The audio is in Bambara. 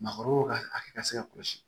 Maakɔrɔw ka hakɛ ka se ka kɔlɔsi